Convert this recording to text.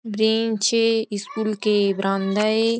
ब्रिंच school के बरांदा है।